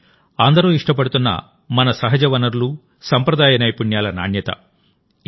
ఇది అందరూ ఇష్టపడుతున్నమన సహజ వనరులు సంప్రదాయ నైపుణ్యాల నాణ్యత